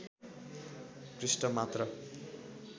पृष्ठ मात्र